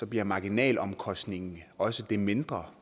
bliver marginalomkostningen også det mindre